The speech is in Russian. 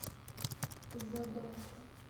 задонска